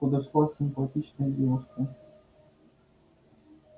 подошла симпатичная девушка